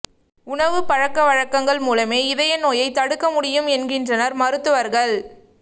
உணவுப் பழக்கவழக்கங்கள் மூலமே இதய நோயை தடுக்க முடியும் என்கின்றனர் மருத்துவர்கள்